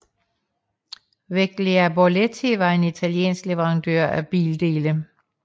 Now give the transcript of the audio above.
Veglia Borletti var en italiensk leverandør af bildele